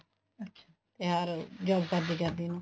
ਤਿਉਹਾਰ ਕਰਦੇ ਕਰਦੇ ਨੂੰ